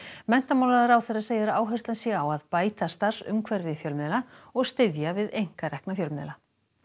menntamálaráðherra segir að áherslan sé á að bæta starfsumhverfi fjölmiðla og styðja við einkarekna fjölmiðla